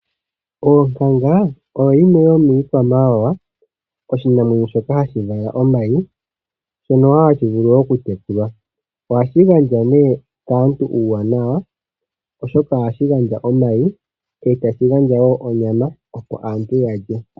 Onkanga oyo yimwe yomiikwamawawa oshinamwenyo shoka hashi vala omayi, shono wo ha shi vulu okutekulwa. Ohashi gandja nee kaantu uuwanawa oshoka ohashi gandja omayi osho wo onyama opo aantu ya lye.